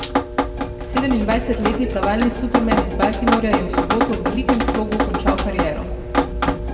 Sedemindvajsetletni plavalni superman iz Baltimorja je v soboto v velikem slogu končal kariero.